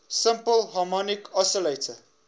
simple harmonic oscillator